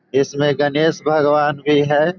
इसमें गणेश भगवान भी है।